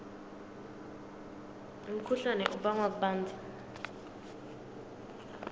umkhuhlane ubangwa kubandza